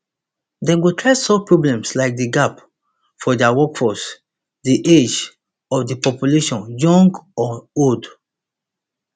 dem go try solve problems like di gap for dia workforce di age of di population young or old